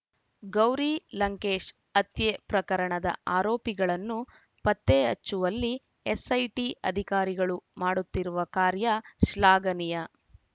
ಗೌರಿ ಲಂಕೇಶ್‌ ಹತ್ಯೆ ಪ್ರಕರಣದ ಆರೋಪಿಗಳನ್ನು ಪತ್ತೆ ಹಚ್ಚುವಲ್ಲಿ ಎಸ್‌ಐಟಿ ಅಧಿಕಾರಿಗಳು ಮಾಡುತ್ತಿರುವ ಕಾರ್ಯ ಶ್ಲಾಘನೀಯ